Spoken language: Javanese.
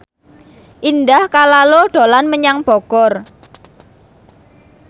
Indah Kalalo dolan menyang Bogor